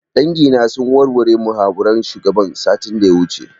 Dangi na sun warware muhawaran shugaban satin da ya wuce